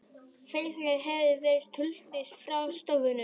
Félagið hefur verið skuldlaust frá stofnun